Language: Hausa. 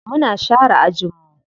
Muna share ajin mu.